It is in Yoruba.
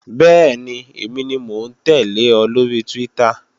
Bẹ́ẹ̀ni, èmi ni mò ń tẹ́lẹ̀ ọ lóri Twitter